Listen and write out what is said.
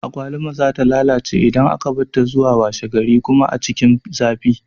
Agwaluma za ta lalace idan aka barta zuwa washe gari kuma a cikin zafi